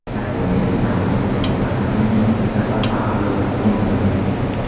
Yaponiyada samolyot niqob taqmagan yo‘lovchi sabab favqulodda qo‘ndirildi.